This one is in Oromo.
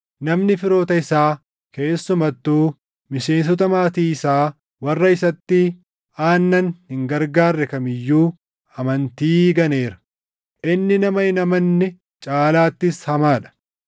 Namni firoota isaa keessumattuu miseensota maatii isaa warra isatti aannan hin gargaarre kam iyyuu amantii ganeera; inni nama hin amanne caalaattis hamaa dha.